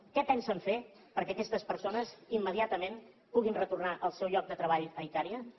què pensen fer perquè aquestes persones immediatament puguin retornar al seu lloc de treball a icària gràcies